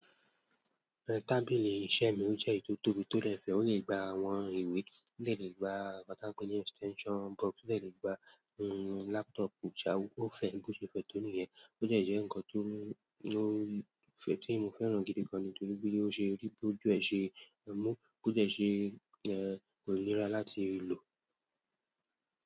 Eh tabili ise mi o je eto tibi to de fe o le gba awon iwe o de le gba nkan tan pe ni extension box o le le gba laptop o ja wo, o fe, bo se fe to ni yen, o de je nkan ti mo feran gidi gan ni nitori bi o se ri bi ojù e se mu, o de se kò nírà láti lò.